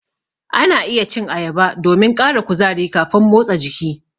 Ana iya cin ayaba domin ƙara kuzari kafin motsa jiki.